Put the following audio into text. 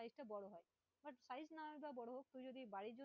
এই size টা বড়ো হয়, but size নাই বা বড়ো হোক